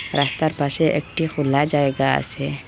রাস্তার পাশে একটি খোলা জায়গা আসে।